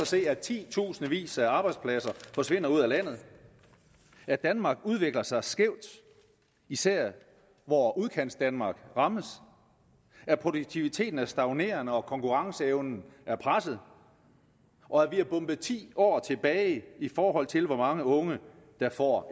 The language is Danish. se at titusindvis af arbejdspladser forsvinder ud af landet at danmark udvikler sig skævt især hvor udkantsdanmark rammes at produktiviteten er stagnerende og konkurrenceevnen er presset og at vi er bombet ti år tilbage i forhold til hvor mange unge der får